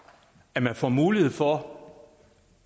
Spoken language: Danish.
alt får mulighed for